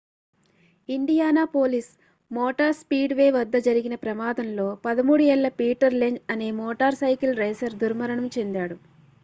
Indianapolis motor speedway వద్ద జరిగిన ప్రమాదంలో 13 ఏళ్ల పీటర్ లెంజ్ అనే మోటార్ సైకిల్ రేసర్ దుర్మరణం చెందాడు